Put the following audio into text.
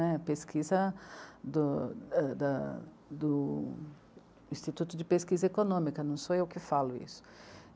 A pesquisa do, da... do Instituto de Pesquisa Econômica, não sou eu que falo isso.